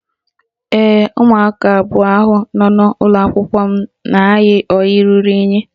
Ee, umụaka abụọ ahụ n'ụlọakwụkwọ m na-ayi ọyị ruru unyị